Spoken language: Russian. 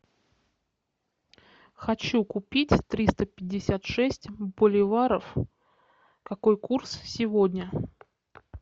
хочу купить триста пятьдесят шесть боливаров какой курс сегодня